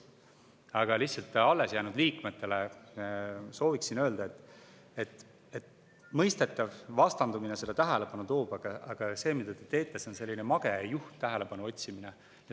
Aga lihtsalt alles jäänud liikmetele sooviksin öelda, et on mõistetav, et vastandumine selle tähelepanu toob, aga see, mida te teete, on selline mage ja juhm tähelepanu otsimine.